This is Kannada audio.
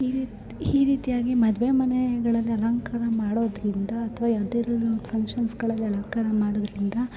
ಈ ರೀತಿಯಾಗಿ ಮದುವೆಳಲ್ಲಿ ಮನೆಗ ಅಲಂಕಾರ ಮಾಡೋದ್ರಿಂದ ಅಥವಾ ಯಾವದಾದ್ರು ಒಂದು ಫಕ್ಷನ್ ಗಳಲ್ಲಿ ಅಲಂಕಾರ ಮಾಡೋದ್ರಿಂದ --